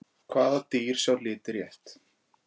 Hvaða dýr sjá liti rétt?